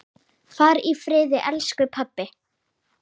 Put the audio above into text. Far í friði, elsku pabbi!